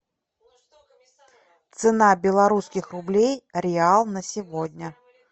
цена белорусских рублей реал на сегодня